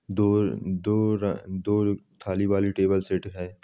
दूर दूर दूर थाली वाली टेबल सेट है।